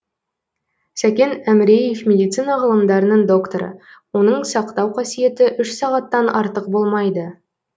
сәкен әміреев медицина ғылымдарының докторы оның сақтау қасиеті үш сағаттан артық болмайды